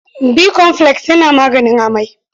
Bikomfules yana maganin amai.